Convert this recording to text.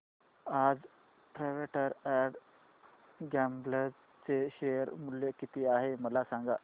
आज Procter and Gamble चे share मूल्य किती आहे मला सांगा